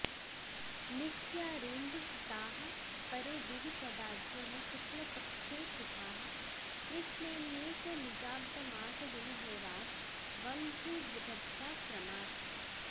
निश्यारेन्दुसिताः परे दिवि सदा ज्ञः शुक्लपक्षे शुभाः कृष्णेऽन्ये च निजाब्दमासदिनहोरास्वङ्ध्रिवृधद्ध्या क्रमात्